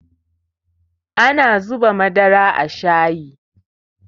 shayi ana zuba masa Madara